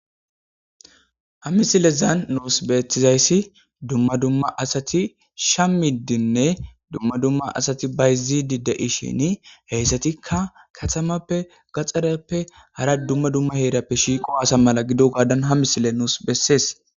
Hamisilezan nuus beethizayssi dumma dumma asati shamiddinne dumma dumma asati bayzidi de'ishini heyssatikka katamappe gaxxareppe hara dumma dumma heerappe shiiqo hasa mala gido gaadan hamisile nuus bessees.